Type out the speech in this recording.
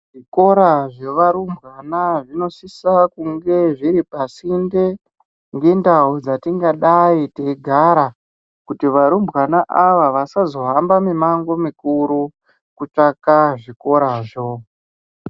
Zvikora zvava rumbwana zvinosisa kunge zviri pasinde nendau dzatingadai teigara kuti varumbwana ava asazohamba mimango mukuru kutsvaka zvikora zvo.